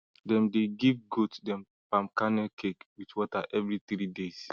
dem dey give goat dem palm kernel cake with water evri three days